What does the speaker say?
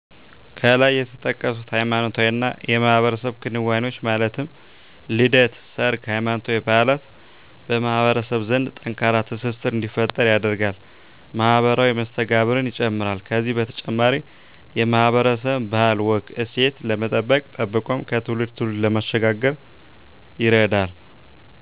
ከላይ የተጠቀሱት ሃይማኖታዊና የማህበረሰብ ክንዋኔዎች ማለት ልደት፣ ሰርግ፣ ሃይማኖታዊ በዓላት በማህበረሰብ ዘንድ ጠንካራ ትስስር እንዲፈጠር ያደርጋል፣ ማህበራዊ መስተጋብርን ይጨምራል ከዚህ በተጨማሪ የማህበረሰብን ባህል፣ ወግ፣ እሴት ለመጠበቅ ጠብቆም ከትውልድ ትውልድ ለማሸጋገር ይረዳል።